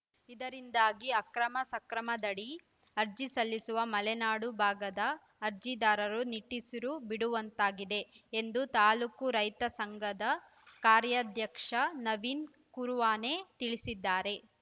ಇದರಿಂದಾಗಿ ಅಕ್ರಮ ಸಕ್ರಮದಡಿ ಅರ್ಜಿ ಸಲ್ಲಿಸುವ ಮಲೆನಾಡು ಭಾಗದ ಅರ್ಜಿದಾರರು ನಿಟ್ಟುಸಿರು ಬಿಡುವಂತಾಗಿದೆ ಎಂದು ತಾಲೂಕು ರೈತ ಸಂಘದ ಕಾರ್ಯಾಧ್ಯಕ್ಷ ನವೀನ್‌ ಕರುವಾನೆ ತಿಳಿಸಿದ್ದಾರೆ